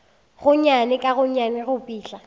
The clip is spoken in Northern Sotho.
gonnyane ka gonnyane go fihla